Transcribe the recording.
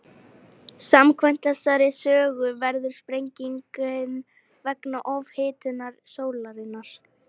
Samkvæmt þessari sögu verður sprengingin vegna ofhitnunar sólarinnar.